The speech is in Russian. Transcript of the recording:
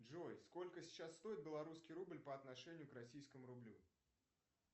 джой сколько сейчас стоит белорусский рубль по отношению к российскому рублю